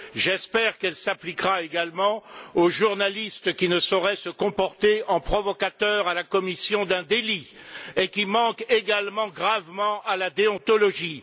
J'espère qu'elle s'appliquera également aux journalistes qui ne sauraient se comporter en provocateurs à la commission d'un délit et qui manquent également gravement à la déontologie.